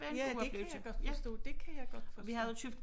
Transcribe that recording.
Ja det kan jeg godt forstå det kan jeg godt forstå